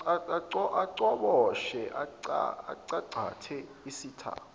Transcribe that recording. acoboshise acangcathe isitha